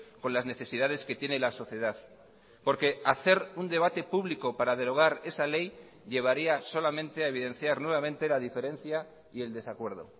con las necesidades que tiene la sociedad porque hacer un debate público para derogar esa ley llevaría solamente a evidenciar nuevamente la diferencia y el desacuerdo